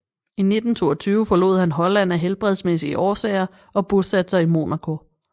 I 1922 forlod han Holland af helbredsmæssige årsager og bosatte sig i Monaco